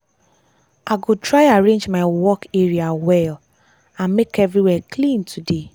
i go try arrange my work my work area well and make everywhere clean today.